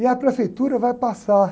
E a prefeitura vai passar